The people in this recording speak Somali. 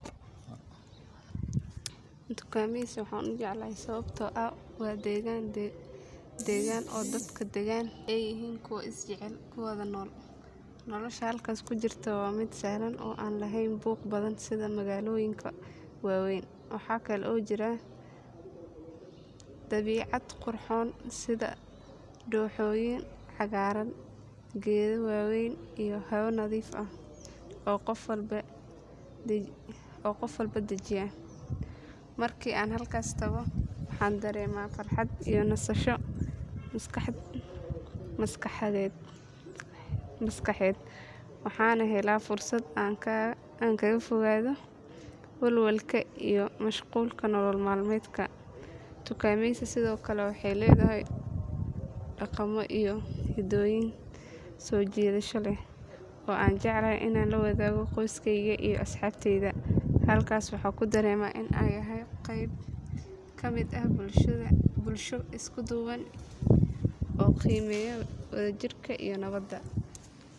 Tukameysi waxaan u jeclahay sababtoo ah waa deegaan degan oo dadka deggan ay yihiin kuwo is jecel oo nabad ku wada nool. Nolosha halkaas ka jirta waa mid sahlan oo aan lahayn buuq badan sida magaalooyinka waaweyn. Waxa kale oo jira dabiicad qurxoon sida dooxooyin cagaaran, geedo waaweyn iyo hawo nadiif ah oo qof walba dejiya. Markii aan halkaas tago, waxaan dareemaa farxad iyo nasasho maskaxeed waxaana helaa fursad aan kaga fogaado walwalka iyo mashquulka nolol maalmeedka. Tukameysi sidoo kale waxay leedahay dhaqamo iyo hidooyin soo jiidasho leh oo aan jeclahay inaan la wadaago qoyskeyga iyo asxaabteyda. Halkaas waxaan ku dareemaa in aan yahay qayb ka mid ah bulsho isku duuban oo qiimeeya wadajirka iyo nabadda.